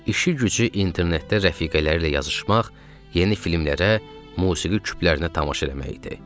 İşi gücü internetdə rəfiqələri ilə yazışmaq, yeni filmlərə, musiqi küplərinə tamaşa eləmək idi.